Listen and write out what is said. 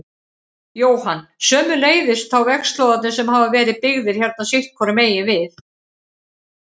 Jóhann: Sömuleiðis þá vegslóðarnir sem hafa verið byggðir hérna sitthvoru megin við?